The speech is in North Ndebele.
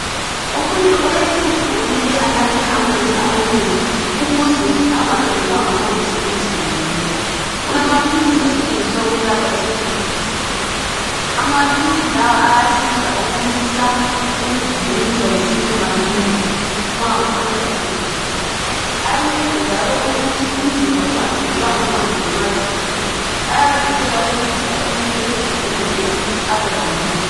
Umuntu olesihudo kumele anathe amanzi amanengi ukuze engaphelelwa ngamanzi emzimbeni. Kulamaphilisi asetshenziswa ukwelapha isihudo, amaphilisi ayasiza ukumisa ukugijinyiswa yisisu masinya nxa uqeda ukudla. Ayancedisa njalo ukuthi umzimba ungaphelelwa ngamanzi ngenxa yesihudo, ayavikela ukuncedisa umuntu ezizwe engcono njalo abe lamandla.